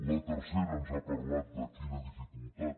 la tercera ens ha parlat de quina dificultat